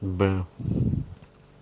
б